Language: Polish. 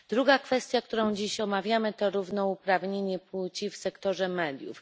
Druga kwestia, którą dziś omawiamy, to równouprawnienie płci w sektorze mediów.